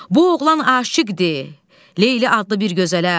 Bu oğlan aşiqdir Leyli adlı bir gözələ.